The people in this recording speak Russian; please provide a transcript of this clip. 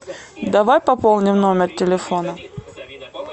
давай пополним номер телефона